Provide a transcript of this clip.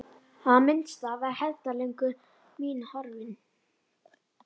Í það minnsta var hefndarlöngun mín horfin.